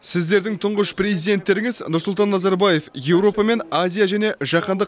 сіздердің тұңғыш президенттеріңіз нұрсұлтан назарбаев еуропа мен азия және жаһандық